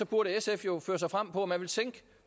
progressive